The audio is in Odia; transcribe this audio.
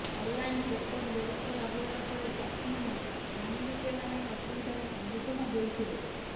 ଅନ୍ଲାଇନ୍ ଟୋକନ୍ ବ୍ୟବସ୍ଥା ଲାଗୁ ହେବା ପରେ ଚାଷୀମାନେ ଧାନ ବିକିବା ପାଇଁ ଅସୁବିଧାର ସମ୍ମୁଖିନ ହେଉଥିଲେ